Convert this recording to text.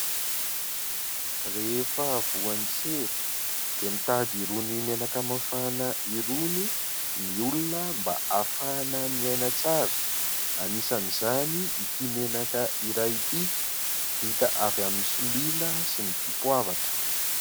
Rehefa voan'ny sery dia mitady irony menaka mafana irony ny olona mba hafahana miaina tsara anisan'izany ity menaka iray ity, vita avy amin'ny solila sy ny dipoavatra.